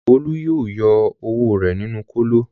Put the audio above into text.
Olú yóò yọ ọwọ́ rẹ̀ nínú kòtò.